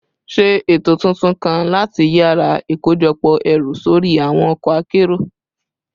Ṣe eto tuntun kan lati yara ikojọpọ ẹru sori awọn ọkọ akero